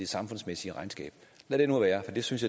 samfundsmæssige regnskab lad det nu være for det synes